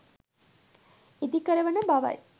ඉදි කරවන බවයි.